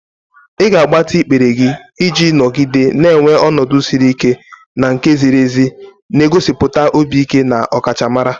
Ị ga-agbatị ikpere gị iji nọgide na-enwe ọnọdụ siri ike na nke ziri ezi, na-egosipụta obi ike na ọkachamara.